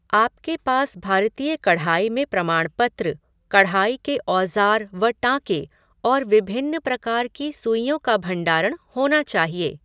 आपके पास भारतीय कढ़ाई में प्रमाण पत्र, कढ़ाई के औजार व टाँके और विभिन्न प्रकार की सुईयोँ का भंडारण होना चाहिए।